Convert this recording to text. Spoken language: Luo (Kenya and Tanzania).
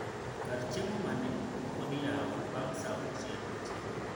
Karchiemo mane mapodiyawo bang saa uchiel otieno